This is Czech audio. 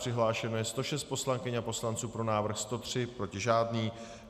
Přihlášeno je 106 poslankyň a poslanců, pro návrh 103, proti žádný.